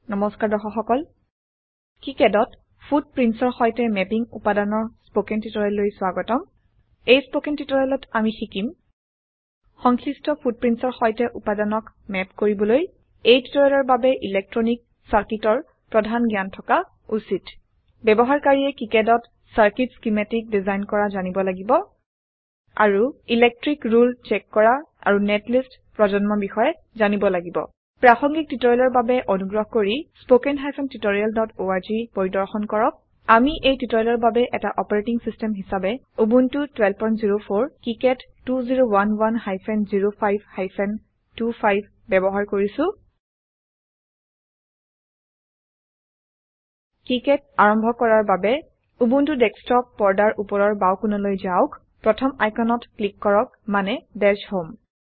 নমস্কাৰ দৰ্শক সকল কিকাড ত footprintsৰ সৈতে ম্যাপিং উপাদানৰ স্পকেন টিউটোৰিয়েললৈ স্বাগতম এই স্পকেন টিউটোৰিয়েলত আমি শিকিম সংশ্লিষ্ট footprintsৰ সৈতে উপাদানক ম্যাপ কৰিবলৈ এই টিউটোৰিয়েলৰ বাবে ইলেকট্ৰনিক চাৰ্কিটৰ প্ৰধান জ্ঞান থকা উচিত ব্যবহাৰকাৰীয়ে কিকাড ত চাৰ্কুইট স্কিমেটিক ডিজাইন কৰা জানিব লাগিব আৰু ইলেক্ট্ৰিক ৰুলে চেক কৰা আৰু নেটলিষ্ট প্ৰজন্ম বিষয়ে জানিব লাগিব প্ৰাসঙ্গিক টিউটোৰিয়েলৰ বাবে অনুগ্ৰহ কৰি স্পোকেন হাইফেন tutorialঅৰ্গ পৰিদৰ্শন কৰক আমি এই টিউটোৰিয়েলৰ বাবে এটা অপাৰেটিং সিস্টেম হিসাবে উবুন্টু 1204 কিকাড 2011 হাইফেন 05 হাইফেন 25 ব্যবহাৰ কৰিছো কিকাড আৰম্ভ কৰাৰ বাবে উবুন্টু ডেস্কটপ পৰ্দাৰ উপৰৰ বাঁও কোণলৈ যাওক প্ৰথম আইকনত ক্লিক কৰক মানেDash হোম